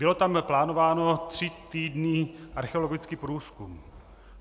Byl tam plánován tři týdny archeologický průzkum.